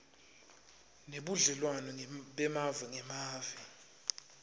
nebudlelwane bemave ngemave